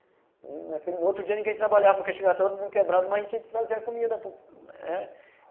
E naquele outro dia ninguém trabalhava porque chegava todo mundo quebrado, mas comida